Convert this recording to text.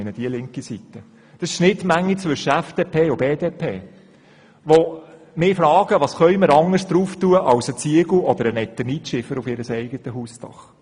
Es sind Leute aus der Schnittmenge zwischen FDP und BDP, die mich fragen, was sie ausser Ziegeln oder Eternitschieferplatten auf ihr Hausdach montieren könnten.